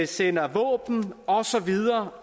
sender våben og så videre